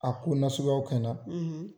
A ko nasya kɛ n na.